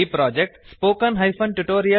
ಈ project httpspoken tutorialorg